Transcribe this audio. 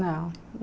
Não.